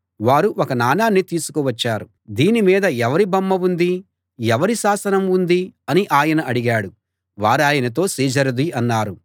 వారు ఒక నాణాన్ని తీసుకు వచ్చారు దీని మీద ఎవరి బొమ్మ ఉంది ఎవరి శాసనం ఉంది అని ఆయన అడిగాడు వారాయనతో సీజరుది అన్నారు